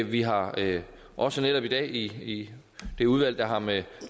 vi har også netop i dag i det udvalg der har med